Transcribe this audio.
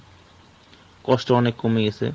কষ্ট অনেক কমে গেছে।